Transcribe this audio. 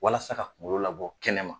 Walasa ka kungolo labɔ kɛnɛ ma.